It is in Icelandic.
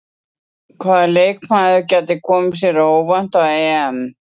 Hvaða leikmaður gæti komið sér óvænt á EM?